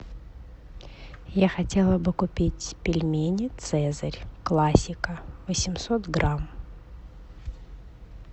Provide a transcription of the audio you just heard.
я хотела бы купить пельмени цезарь классика восемьсот грамм